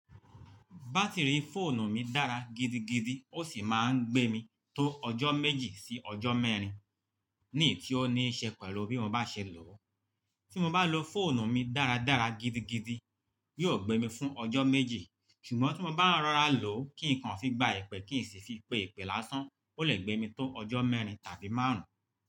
Bátìrì fóònù mi dára gidigidi ó sì máa ń gbé mi tó ọjọ́ méjì sí ọjọ́ mẹ́rin, ní ì tí ó ní í ṣe pẹ̀lú bí mo bá ṣe lò ó. Tí mo bá lo fóònù mi dáradára gidigidi yóò gbé mi fún ọjọ́ méjì, ṣùgbọ́n tí mo bá ń rọra lò ó kí nkan fi gba ẹ̀pẹ̀ kí n sì fi pe ẹ̀pẹ̀ lásán, ó lè gbé mi tó ọjọ́ mẹ́rin tàbí márùn-ún.